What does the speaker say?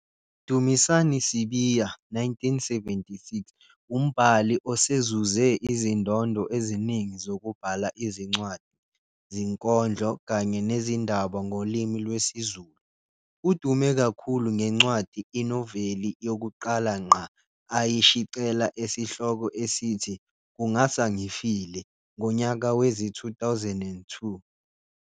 Dumisani Sibiya, 1976, umbhali osezuze izindondo eziningi zokubhala izincwadi, zinkondlo kanye nezindaba ngolimi lwesiZulu. Udume kakhulu ngencwadi, inoveli, yokuqala ngqa ayishicela esihloko esithi "Kungasa Ngifile" ngonyaka wezi-2002.